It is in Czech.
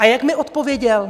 A jak mi odpověděl?